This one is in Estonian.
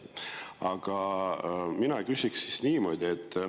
Aga ma küsiksin niimoodi.